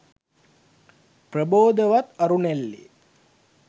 ප්‍රබෝධවත් අරුණැල්ලේ